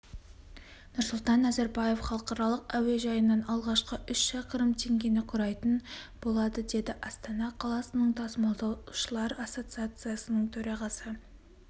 нұрсұлтан назарбаев халықаралық әуежайынан алғашқы үш шақырым теңгені құрайтын болады деді астана қаласының тасымалдаушылар ассоциациясының төрағасы